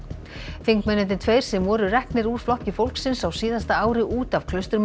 þingmennirnir tveir sem voru reknir úr Flokki fólksins á síðasta ári út af